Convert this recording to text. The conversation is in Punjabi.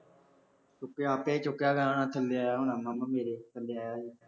ਚੁੱਕਿਆ ਆਪੇ ਚੁੱਕਿਆ ਗਿਆ ਹੋਣਾ, ਥੱਲੇ ਆਇਆ ਹੋਣਾ ਮਾਮਾ ਮੇਰੇ, ਥੱਲੇ ਆਇਆਂ ਸੀ